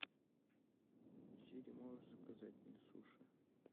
сири можешь заказать мне суши